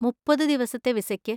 മുപ്പത് ദിവസത്തെ വിസയ്ക്ക്.